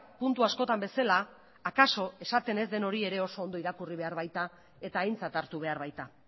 puntu askotan bezala akaso esaten ez den hori ere oso ondo irakurri behar baita eta aintzat hartu behar baita